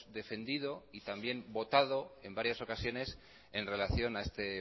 defendido y también votado en varias ocasiones en relación a este